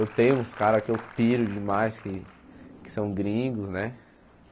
Eu tenho uns caras que eu piro demais, que que são gringos, né?